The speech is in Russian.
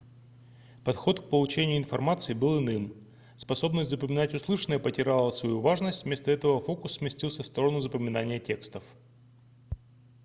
подход к получению информации был иным способность запоминать услышанное потеряла свою важность вместо этого фокус сместился в сторону запоминания текстов